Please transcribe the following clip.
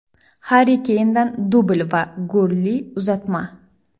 Harri Keyndan dubl va golli uzatma.